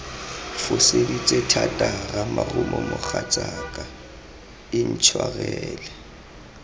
foseditse thata ramarumo mogatsaka intshwarele